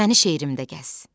Məni şeirimdə gəz.